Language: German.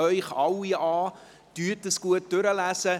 Lesen Sie ihn bitte gut durch.